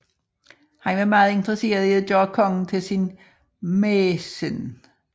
Han var meget interesseret i at gøre kongen til sin mæcen